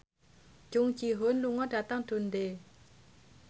Jung Ji Hoon lunga dhateng Dundee